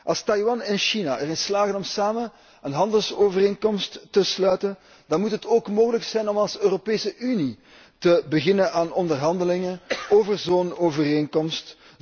Als Taiwan en China erin slagen om samen een handelsovereenkomst te sluiten, dan moet het ook mogelijk zijn om als Europese Unie te beginnen aan onderhandelingen over zo'n overeenkomst.